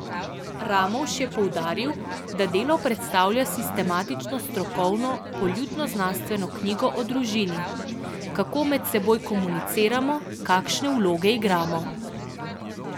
Ramovš je poudaril, da delo predstavlja sistematično strokovno poljudnoznanstveno knjigo o družini: "Kako med seboj komuniciramo, kakšne vloge igramo.